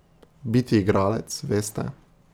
Biti igralec, veste ...